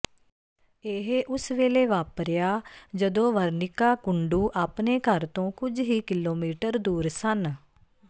ਇਹ ਉਸ ਵੇਲੇ ਵਾਪਰਿਆ ਜਦੋਂ ਵਰਣਿਕਾ ਕੁੰਡੂ ਆਪਣੇ ਘਰ ਤੋਂ ਕੁਝ ਹੀ ਕਿਲੋਮੀਟਰ ਦੂਰ ਸਨ